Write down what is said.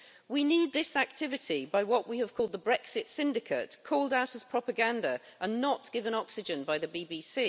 We need this activity by what we have called the Brexit Syndicate' called out as propaganda and not given oxygen by the BBC.